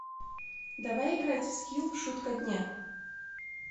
давай играть в скилл шутка дня